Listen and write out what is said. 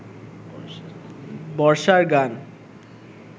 বর্ষার গান